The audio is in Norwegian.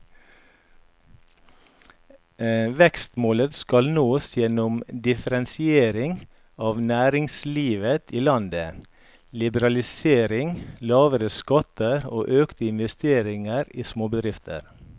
Vekstmålet skal nås gjennom differensiering av næringslivet i landet, liberalisering, lavere skatter og økte investeringer i småbedrifter.